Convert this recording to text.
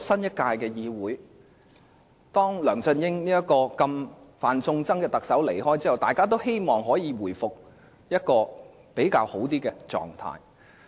在梁振英這位"犯眾憎"特首離開後，大家都希望本屆立法會可以回復至較好的狀態。